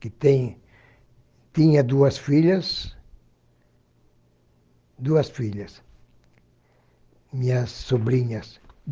que têm tinha duas filhas, duas filhas, minhas sobrinhas.